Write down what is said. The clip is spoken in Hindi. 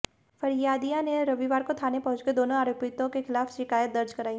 फरियादिया ने रविवार को थाने पहुंचकर दोनों आरोपितों के खिलाफ शिकायत दर्ज कराई